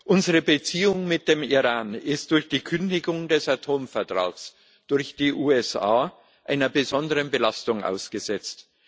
Unsere Beziehung mit dem Iran ist durch die Kündigung des Atomvertrags durch die USA einer besonderen Belastung ausgesetzt.